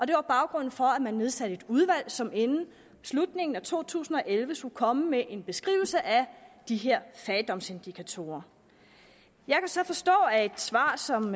det var baggrunden for at man nedsatte et udvalg som inden slutningen af to tusind og elleve skulle komme med en beskrivelse af de her fattigdomsindikatorer jeg kan så forstå af et svar som